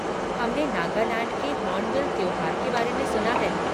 हमने नागालैंड के होर्नबिल त्योहार के बारे में सुना है।